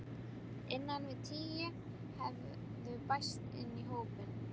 Innan við tíu hefðu bæst í hópinn.